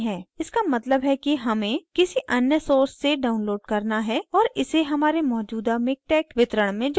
इसका मतलब है कि हमें : किसी अन्य source से download करना है और इसे हमारे मौजूदा miktex वितरण में जोड़ना है